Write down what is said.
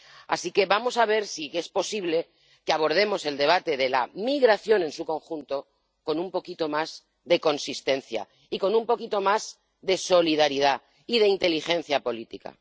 Así que vamos a ver si es posible que abordemos el debate de la migración en su conjunto con un poquito más de consistencia y con un poquito más de solidaridad y de inteligencia política.